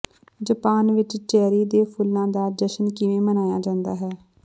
Japan ਵਿਚ cherry ਦੇ ਫੁੱਲਾਂ ਦਾ ਜਸ਼ਨ ਕਿਵੇਂ ਮਨਾਇਆ ਜਾਂਦਾ ਹੈ